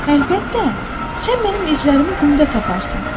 Əlbəttə, sən mənim izlərimi qumda taparsan.